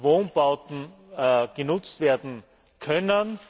Wohnbauten genutzt werden können.